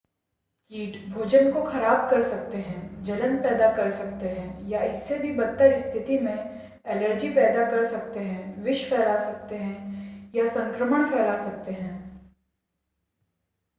कीट भोजन को ख़राब कर सकते हैं जलन पैदा कर सकते हैं या इससे भी बदतर स्थिति में एलर्जी पैदा कर सकते हैं विष फैला सकते हैं या संक्रमण फैला सकते हैं